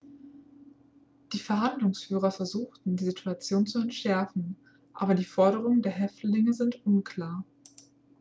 die verhandlungsführer versuchten die situation zu entschärfen aber die forderungen der häftlinge sind unklar